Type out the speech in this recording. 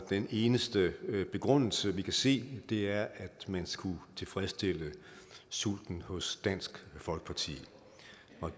den eneste begrundelse vi kan se er at man skulle tilfredsstille sulten hos dansk folkeparti